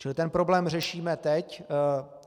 Čili ten problém řešíme teď.